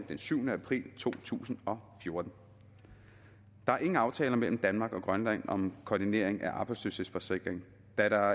den syvende april to tusind og fjorten der er ingen aftaler mellem danmark og grønland om koordinering af arbejdsløshedsforsikring da der